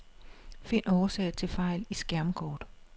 Find årsag til fejl i skærmkort.